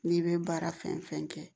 N'i bɛ baara fɛn fɛn kɛ